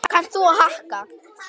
Þín Mía.